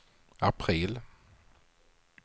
april